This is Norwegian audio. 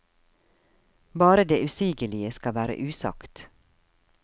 Bare det usigelige skal være usagt.